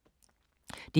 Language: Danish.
DR K